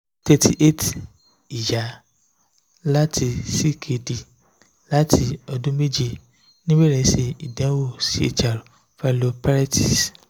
thirty eight iya lati ckd lati odun meje nibere se idanwo chr pylonephritis